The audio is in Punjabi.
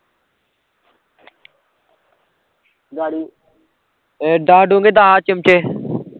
ਏਹ ਦੱਸ ਡੋਂਗੇ ਦੱਸ ਚਿਮਟੇ